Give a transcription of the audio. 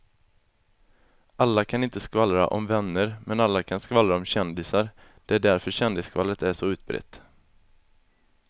Alla kan inte skvallra om vänner men alla kan skvallra om kändisar, det är därför kändisskvallret är så utbrett.